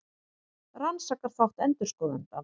Rannsakar þátt endurskoðenda